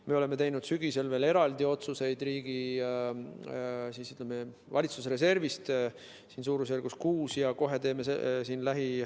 Me oleme teinud sügisel veel eraldi otsuseid valitsuse reservist suurusjärgus 6 miljoni eest.